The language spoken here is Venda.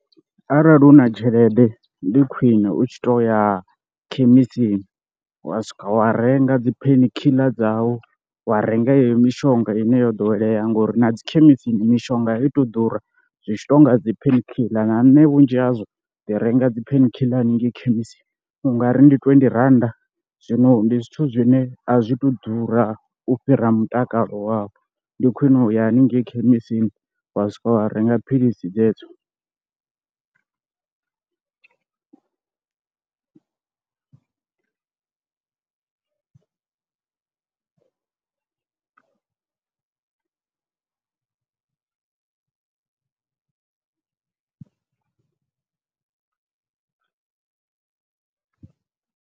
Arali hu na tshelede ndi khwine u tshi to ya khemisini wa swika wa renga dzi pain khiḽa dzau, wa renga yeneyo mishonga ine yo ḓowelea ngori na dzi khemisini mishonga a itu ḓura, zwi tshi tou nga dzi pain khiḽa na nṋe vhunzhi hazwo ndi renga dzi pain khiḽa haningei khemisini u nga ri ndi twendi rannda zwino ndi zwithu zwine a zwi tu ḓura u fhira mutakalo wawe, ndi khwine uya haningei khemisini wa swika wa renga philisi dzedzo.